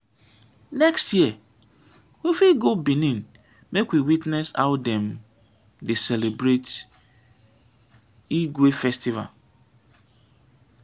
next year we fit go benin make we witness how dem dey celebrate igue festival.